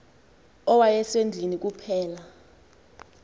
owaye sendlwini kuphela